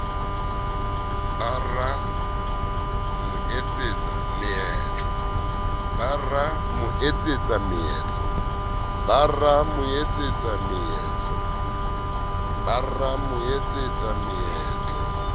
ba ra mo etsetsa meetlo